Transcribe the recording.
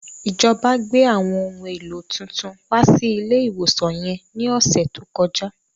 Ìjọba gbé àwọn ohun èlò tuntun wá sí ilé ìwòsan yẹn ní ọ̀sẹ̀ tó kọjá